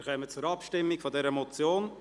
Wir kommen zur Abstimmung über die Motion.